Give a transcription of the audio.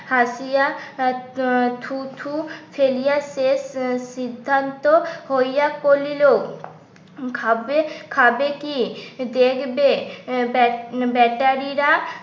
হাসিয়া আ আ থুতু ফেলিয়া শেষ সিদ্ধান্ত হইয়া করিল ভাববে খাবে কি? দেখবে ব্য বেচারী রা